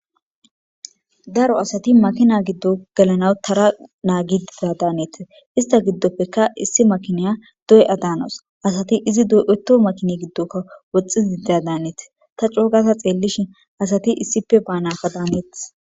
Daro asati makina giddo gelanaw tara nagidida danees.hestta gidoppekka issi makina do'a danawus. Adati izi do'otto makinne gidokka woxxidida danes. Ta coo gafa xeelishin asatti issippe banakka danetees.